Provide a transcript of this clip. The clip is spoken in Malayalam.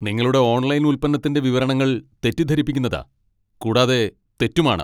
നിങ്ങളുടെ ഓൺലൈൻ ഉൽപ്പന്നത്തിന്റെ വിവരണങ്ങൾ തെറ്റിദ്ധരിപ്പിക്കുന്നതാ. കൂടാതെ തെറ്റുമാണ്.